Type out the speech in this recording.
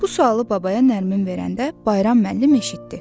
Bu sualı babaya Nərmin verəndə Bayram müəllim eşitdi.